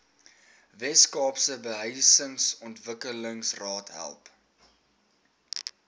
weskaapse behuisingsontwikkelingsraad help